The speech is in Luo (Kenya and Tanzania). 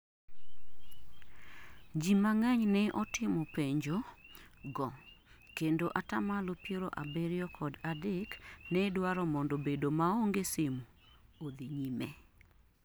ji mang'eny ne otimopenjo go kendo atamalo piero abirio kod adek ne dwaro mondo bedo maonge simu odhi nyime